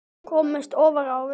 Komist ofar á völlinn?